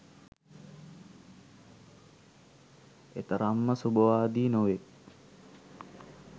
එතරම්ම සුබවාදී නොවේ.